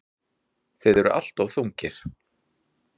Þið eruð alltof þungir.